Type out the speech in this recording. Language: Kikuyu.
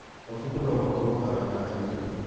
Mabuku no makorwo arata aitũ.